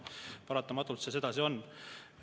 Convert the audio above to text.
Paratamatult see sedasi on.